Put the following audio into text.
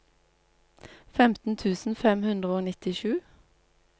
femten tusen fem hundre og nittisju